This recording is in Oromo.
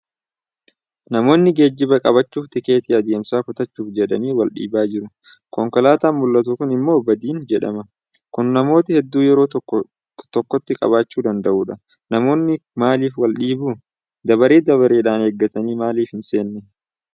Namoonni geejjiba qabachuuf tikeettii deemsaa kutachuuf jedhanii waldhiibaa jiru. Konkolaataan mul'atu Kun immoo badiin jedhama. Kan namoota hedduu yeroo tokkotti qabachuu danda'udha. Namoonni maalif waldhiibu? Dabaree dabareedhaan eeggatanii maalif hinseenne?